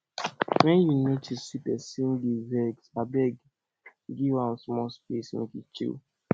wen you notice say pesin dey vex abeg give abeg give am small space make e chill